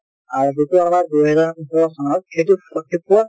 আৰু যিটো আমাৰ দুই হেজাৰ সোতৰ চনৰ সেইটো